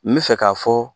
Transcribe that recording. N bɛ fɛ k'a fɔ